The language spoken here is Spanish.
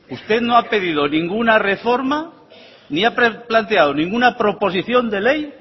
usted no ha pedido ninguna reforma ni ha planteado ninguna proposición de ley